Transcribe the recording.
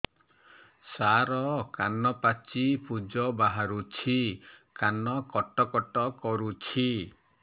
ସାର କାନ ପାଚି ପୂଜ ବାହାରୁଛି କାନ କଟ କଟ କରୁଛି